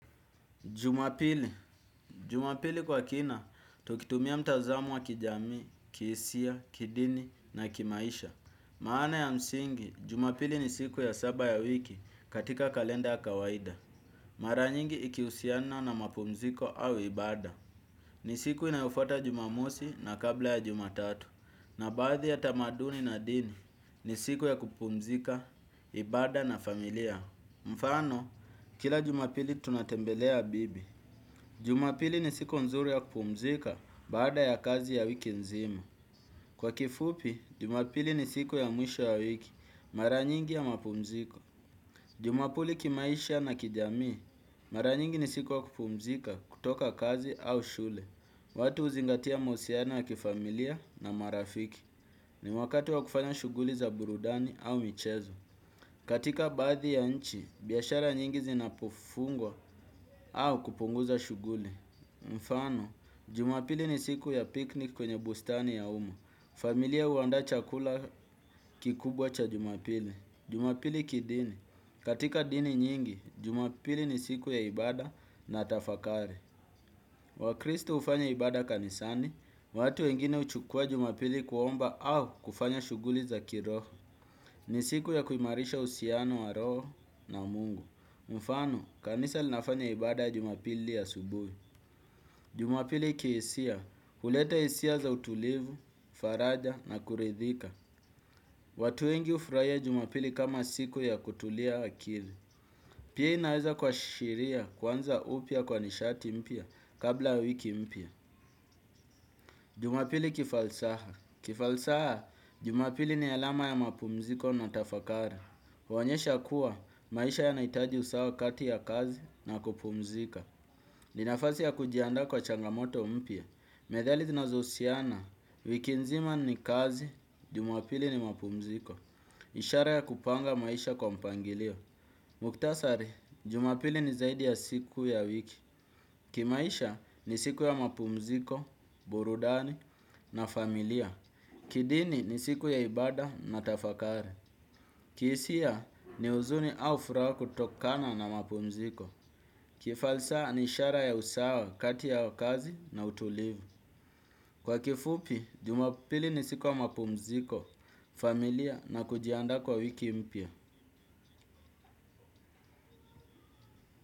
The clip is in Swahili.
Jumapili. Jumapili kwa kina, tukitumia mtazamo wa kijamii, kihisia, kidini na kimaisha. Maana ya msingi, Jumapili ni siku ya saba ya wiki, katika kalenda ya kawaida. Mara nyingi ikihusiana na mapumziko au ibada. Ni siku inayofuata Jumamosi na kabla ya Jumatatu. Na baadhi ya tamaduni na dini, ni siku ya kupumzika, ibada na familia. Mfano, kila Jumapili tunatembelea bibi. Jumapili ni siku nzuri ya kupumzika, baada ya kazi ya wiki nzima. Kwa kifupi, jumapili ni siku ya mwisho ya wiki, mara nyingi ya mapumziko. Jumapuli kimaisha na kijamii. Mara nyingi ni siku ya kupumzika, kutoka kazi au shule. Watu huzingatia mahusiano ya kifamilia na marafiki. Ni wakati wa kufanya shughuli za burudani au michezo. Katika baadhi ya nchi, biashara nyingi zinapofungwa au kupunguza shughuli. Mfano, jumapili ni siku ya piknik kwenye bustani ya umma. Familia huandaa chakula kikubwa cha jumapili. Jumapili kidini. Katika dini nyingi, jumapili ni siku ya ibada na tafakari. Wakristo hufanya ibada kanisani. Watu wengine huchukua jumapili kuomba au kufanya shughuli za kiroho. Ni siku ya kuimarisha uhusiano wa roho na mungu. Mfano, kanisa linafanya ibada Jumapili asubuhi. Jumapili kihisia. Huleta hisia za utulivu, faraja na kuridhika. Watu wengi hufurahia jumapili kama siku ya kutulia akili. Pia inaweza kuashiria kuanza upya kwa nishati mpya kabla wiki mpya. Jumapili kifalsaha. Kifalsaha, Jumapili ni alama ya mapumziko na tafakara. Huonyesha kuwa, maisha yanahitaji usawa kati ya kazi na kupumzika. Ni nafasi ya kujiandaa kwa changamoto mpya. Methali zinazohusiana, wiki nzima ni kazi, Jumapili ni mapumziko. Ishara ya kupanga maisha kwa mpangilio. Mukhtasari, Jumapili ni zaidi ya siku ya wiki. Kimaisha, ni siku ya mapumziko, burudani na familia. Kidini, ni siku ya ibada na tafakari. Kihisia, ni huzuni au furaha kutokana na mapumziko. Kifalsaha, ni ishara ya usawa kati ya kazi na utulivu. Kwa kifupi, Jumapili ni siku ya mapumziko, familia na kujiandaa kwa wiki mpya.